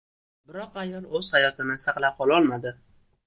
Biroq ayol o‘z hayotini saqlab qola olmadi.